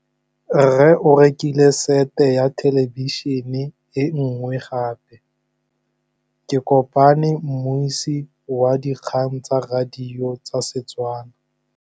Rre o rekile sete ya thêlêbišênê e nngwe gape. Ke kopane mmuisi w dikgang tsa radio tsa Setswana.